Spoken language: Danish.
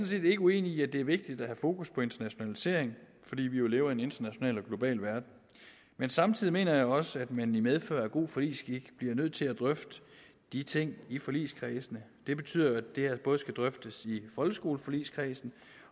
set ikke uenig i at det er vigtigt at have fokus på internationalisering fordi vi jo lever i en international og global verden men samtidig mener jeg også at man i medfør af god forligsskik bliver nødt til at drøfte de ting i forligskredsene det betyder at det her både skal drøftes i folkeskoleforligskredsen